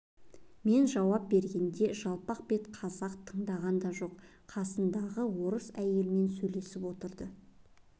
мен жауап бергенде жалпақ бет қазақ тыңдаған да жоқ қасындағы орыс әйелмен сөйлесіп отырды